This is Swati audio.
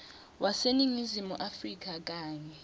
waseningizimu afrika kanye